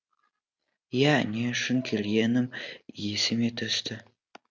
ия не үшін келгенім есіме түсті